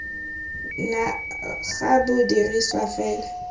dna ga bo dirisiwe fela